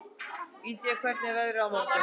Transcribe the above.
Indía, hvernig er veðrið á morgun?